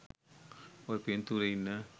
ඔය පිංතූරෙ ඉන්න